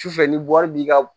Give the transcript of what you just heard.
Sufɛ ni wari b'i ka